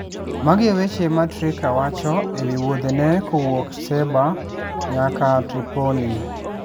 Magi e weche ma Trika wacho e wi wuodhene kowuok Sebha nyaka Tripoli: